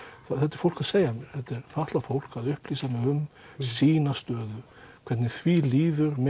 þetta er fólk að segja mér þetta er fatlað fólk að upplýsa mig um sína stöðu hvernig því líður með